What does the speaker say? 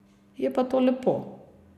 Je pa to lepo.